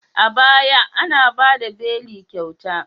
A baya, ana ba da beli kyauta.